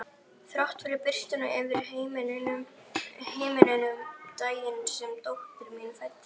Þrátt fyrir birtuna yfir heiminum daginn sem dóttir mín fæddist.